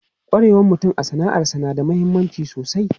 Kwarewan mutum a sana'arsa na da mahimmanci sosai.